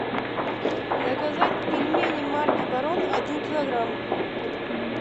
заказать пельмени марки барон один килограмм